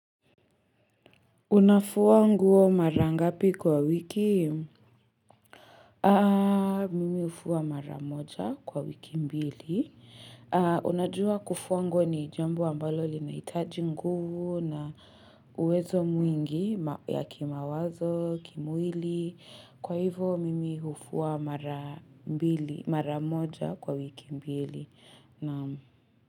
Unafua nguo mara ngapi kwa wiki? Mimi hufua mara moja kwa wiki mbili. Unajua kufua nguo ni jambo ambalo linahitaji nguvu na uwezo mwingi ya kimawazo, kimwili. Kwa hivo, mimi hufua mara moja kwa wiki mbili. Naam.